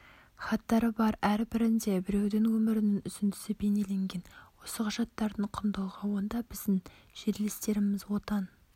хаттары бар әр бірінде біреудің өмірінің үзіндісі бейнеленген осы құжаттардың құндылығы онда біздің жерлестеріміз отан